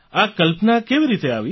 આ શું કલ્પના આવી